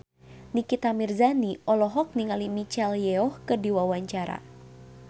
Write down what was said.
Nikita Mirzani olohok ningali Michelle Yeoh keur diwawancara